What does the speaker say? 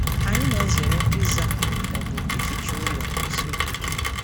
Anyị na-ezere ịza ma ọ bụ ịficha ụlọ n'isi ụtụtụ.